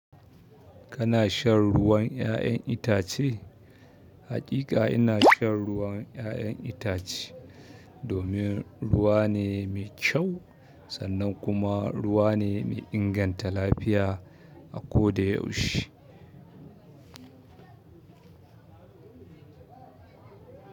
Kana shan ruwan 'ya'yan itace? Haƙiƙa ina shan ruwan 'ya'yan itace, domin ruwa ne mai kyau sannan kuma ruwa ne mai inganta lafiya a ko da yaushe.